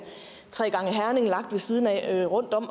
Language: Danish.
tre gange herning lagt ved siden af eller rundt om